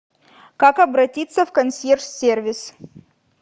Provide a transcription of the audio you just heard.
как обратиться в консьерж сервис